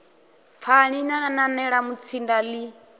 pfani na nanela mutsinda ḽi